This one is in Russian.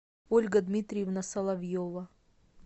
ольга дмитриевна соловьева